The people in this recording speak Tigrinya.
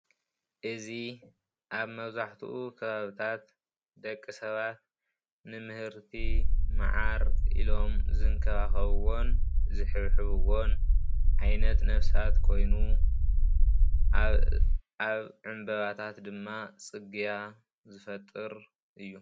እዚ ኣብ መብዛሕትኡ ከባቢታት ደቂ ሰባት ንምህርቲ መዓር ኢሎም ዝንከባከብዎን ዝሕብሕዝበዎን ዓይነት ነብሳት ኮይኑ ኣብ ዕምበባታት ድማ ፅግያ ዝፈጥር እዩ፡፡